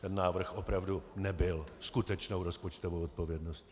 Ten návrh opravdu nebyl skutečnou rozpočtovou odpovědností.